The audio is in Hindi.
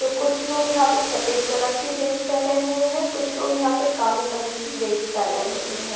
तो कुछ लोग यहां पे सफेद कलर की ड्रेस पहने हुए हैं कुछ लोग यहां पे काले कलर की ड्रेस पहने हुए हैं।